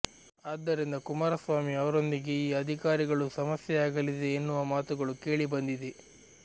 ಆದ್ದರಿಂದ ಕುಮಾರಸ್ವಾಾಮಿ ಅವರೊಂದಿಗೆ ಈ ಅಧಿಕಾರಿಗಳಿಗೂ ಸಮಸ್ಯೆೆಯಾಗಲಿದೆ ಎನ್ನುವ ಮಾತುಗಳು ಕೇಳಿಬಂದಿದೆ